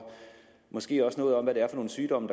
måske også fortælle noget om hvad det er for nogle sygdomme